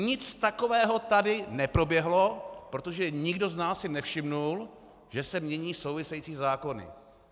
Nic takového tady neproběhlo, protože nikdo z nás si nevšiml, že se mění související zákony.